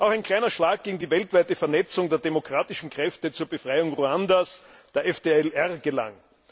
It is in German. Auch ein kleiner Schlag gegen die weltweite Vernetzung der Demokratischen Kräfte zur Befreiung Ruandas, der FDLR, gelang.